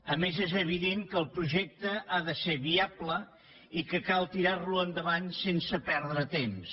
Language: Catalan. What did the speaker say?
a més és evident que el projecte ha de ser viable i que cal tirar lo endavant sense perdre temps